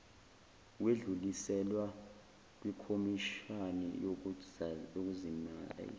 wedluliselwa kwikhomishani yokuzimazisa